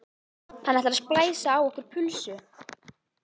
Hann ætlar að splæsa á okkur pulsu!